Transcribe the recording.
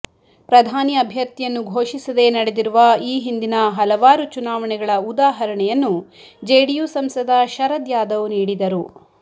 ಪ್ರಧಾನಿ ಅಭ್ಯರ್ಥಿಯನ್ನು ಘೋಷಿಸದೇ ನಡೆದಿರುವ ಈ ಹಿಂದಿನ ಹಲವಾರು ಚುನಾವಣೆಗಳ ಉದಾಹರಣೆಯನ್ನು ಜೆಡಿಯು ಸಂಸದ ಶರದ್ ಯಾದವ್ ನೀಡಿದರು